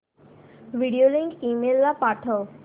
video link email ला पाठव